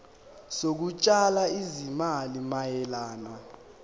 zokutshala izimali mayelana